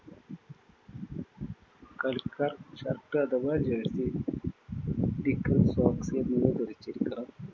കളിക്കാര്‍ shirt അഥവാ jersey, knickers, socks എന്നിവ ധരിച്ചിരിക്കണം.